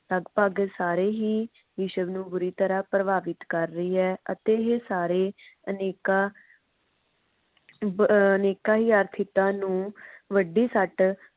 ਲਗਭਗ ਸਾਰੇ ਹੀ ਵਿਸ਼ਵ ਨੂੰ ਬੁਰੀ ਤਰਹ ਪ੍ਰਭਾਵਿਤ ਕਰ ਰਹੀ ਹੈ। ਅਤੇ ਸਾਰੇ ਅਨੇਕਾਂ ਅਬ ਅਨੇਕਾਂ ਹੀ ਆਰਥਿਕਤਾ ਨੂੰ ਵੱਡੀ ਸੱਟ